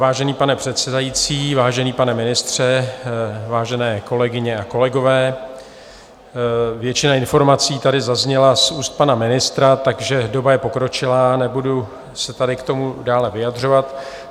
Vážený pane předsedající, vážený pane ministře, vážené kolegyně a kolegové, většina informací tady zazněla z úst pana ministra, takže doba je pokročilá, nebudu se tady k tomu dále vyjadřovat.